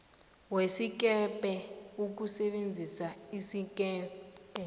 wesikebhe ukusebenzisa isikebhe